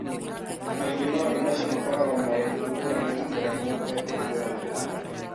Kaingĩ maũndũ macio makoragwo marĩ ngũrani na ũrĩa mũndũ ekũhiũrania namo.